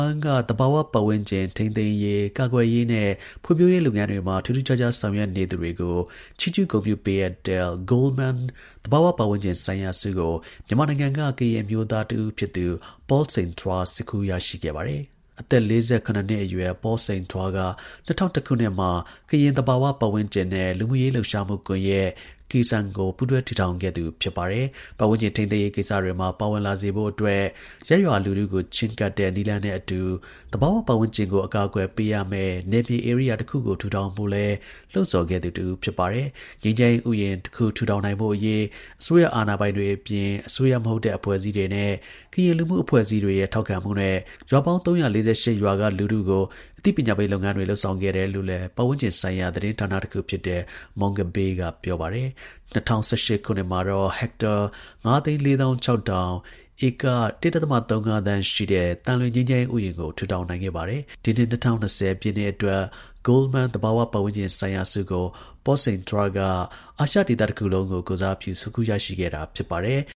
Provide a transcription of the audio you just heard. မ်းက သဘာဝ ပတ်ဝန်းကျင် ထိန်းသိမ်းရေး ကာကွယ်ရေးနဲ့ ဖွံ့ဖြိုးရေးလုပ်ငန်းတွေမှာ ထူးထူးခြားခြား ဆောင်ရွက်နေသူတွေကို ချီးကျူးဂုဏ်ပြုပေးအပ်တဲ့ Goldman သဘာဝပတ်ဝန်းကျင်ဆိုင်ရာဆုကို မြန်မာနိုင်ငံက ကရင် အမျိုးသား Paul Sein Twaဆွတ်ခူး ရရှိခဲ့ပါတယ်။ အသက် ၄၇ နှစ်အရွယ် Paul Sein Twaက ၂၀၀၁ ခုနှစ်မှာ ကရင် သဘာဝ ပတ်ဝန်းကျင်နဲ့ လူမှုရေး လှုပ်ရှားမှု ကွန်ယက် (KESAN) ကို ပူးတွဲ တည်ထောင် ခဲ့သူ ဖြစ်ပါတယ်။ ပတ်ဝန်းကျင် ထိန်းသိမ်းရေး ကိစ္စတွေမှာ ပါဝင်လာစေဖို့အတွက် ရပ်ရွာလူထုကို ချဉ်းကပ် တဲ့ နည်းလမ်းနဲ့အတူ သဘာဝ ပတ်ဝန်းကျင်ကို အကာအကွယ် ပေးရမယ့် နယ်မြေ ဧရိယာတစ်ခုကို ထူထောင်ဖို့လည်း လှုံ့ဆော်ခဲ့သူ တစ်ဦး ဖြစ်ပါတယ်။ ငြိမ်းချမ်းရေး ဥယျာဉ်တစ်ခု ထူထောင်နိုင်ဖို့အရေး အစိုးရ အာဏာပိုင်တွေနဲ့ အပြင် အစိုးရမဟုတ်တဲ့ အဖွဲ့အစည်းတွေနဲ့ ကရင် လူမှု အဖွဲ့အစည်းအတွေရဲ့ထောက်ခံမှုနဲ့ ရွာပေါင်း ၃၄၈ ရွာက လူထုကို အသိပညာပေးလုပ်ငန်းတွေ လုပ်ဆောင်ခဲ့တယ်လို့လည်း ပတ်ဝန်း ကျင်ဆိုင်ရာ သတင်းဌာန တစ်ခုဖြစ်တဲ့ Mongabay က ပြောပါတယ်။ ၂၀၁၈ ခုနှစ်မှာတော့ ဟက်တာ ၅၄၆,၀၀၀ (ဧက ၁.၃ သန်း) ရှိတဲ့ သံလွင် ငြိမ်းချမ်းရေး ဥယျာဉ်ကို ထူထောင်နိုင်ခဲ့တာပါ။ ဒီနှစ် ၂၀၂၀ ပြည့်နှစ်အတွက် Goldman သဘာဝ ပတ်ဝန်းကျင်ဆိုင်ရာဆုကို Paul Sein Twaက အာရှဒေသတစ်ခုလုံးကို ကိုယ်စားပြု ဆွတ်ခူးရရှိခဲ့တာ ဖြစ်ပါတယ်။